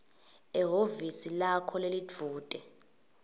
ehhovisi lakho lelidvute